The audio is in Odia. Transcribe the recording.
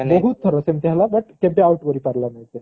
ବହୁତ ଥର ସେମିତି ହେଲା but କେବେ out କରିପାରିଲାନି ସେ